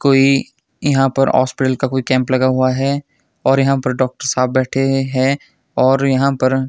कोई यहां पर हॉस्पिटल का कोई कैंप लगा हुआ है और यहां पर डॉक्टर साहब बैठे है और यहां पर--